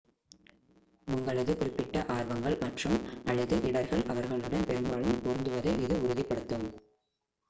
உங்களது குறிப்பிட்ட ஆர்வங்கள் மற்றும்/அல்லது இடர்கள் அவர்களுடன் பெரும்பாலும் பொருந்துவதை இது உறுதிப்படுத்தும்